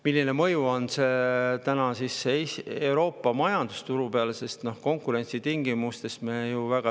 Milline mõju on sellel Euroopa majandusele ja turule konkurentsi tingimustes?